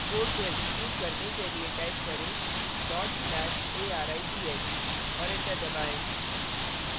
code को execute करने के लिए type करें/arith और enter दबाएँ